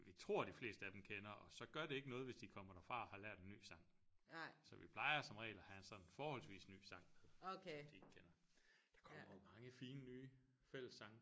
Vi tror de fleste af dem kender og så gør det ikke noget hvis de kommer derfra og har lært en ny sang så vi plejer som regel at have en sådan forholdsvis ny sang med som de ikke kender der kommer jo mange fine nye fællessange